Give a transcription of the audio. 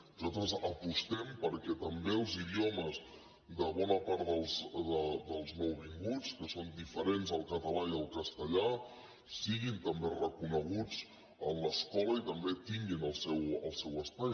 nosaltres apostem perquè també els idiomes de bona part dels nouvinguts que són diferents del català i del castellà siguin també reconeguts a l’escola i també tinguin el seu espai